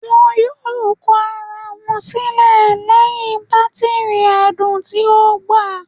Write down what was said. Wọn yoo kọ ara wọn silẹ lẹhin batiri ẹdun ti o gba